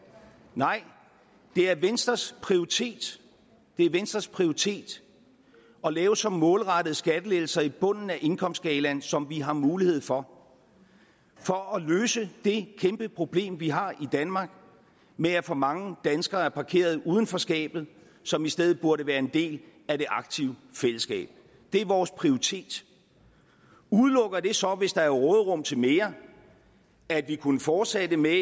nej det er venstres prioritet det er venstres prioritet at lave så målrettede skattelettelser i bunden af indkomstskalaen som vi har mulighed for for at løse det kæmpeproblem vi har i danmark med at for mange danskere er parkeret uden for skabet som i stedet burde være en del af det aktive fællesskab det er vores prioritet udelukker det så hvis der er råderum til mere at vi kunne fortsætte med